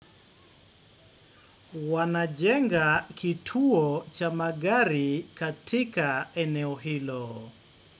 Wanajenga kituo cha magari katika eneo hilo.